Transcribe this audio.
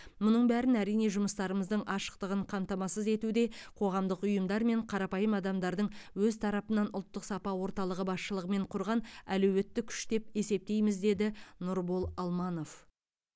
мұның бәрін әрине жұмыстарымыздың ашықтығын қамтамасыз етуде қоғамдық ұйымдар мен қарапайым адамдардың өз тарапынан ұлттық сапа орталығы басшылығымен құрған әлеуетті күш деп есептейміз деді нұрбол алманов